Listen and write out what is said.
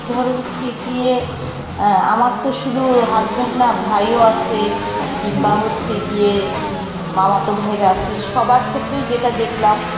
ধরো হচ্ছে গিয়ে অ্যাঁ আমার তো শুধু husband না ভাই ও আসে কিংবা হচ্ছে গিয়ে উম মামাতো ভাইরা আসে, সবার ক্ষেত্রেই যেটা দেখলাম